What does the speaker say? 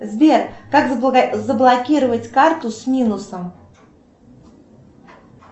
сбер как заблокировать карту с минусом